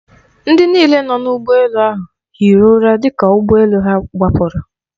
Ndị niile nọ n'ụgbọ elu ahụ hiri ụra dịka ụgbọ elu ha gbapụrụ.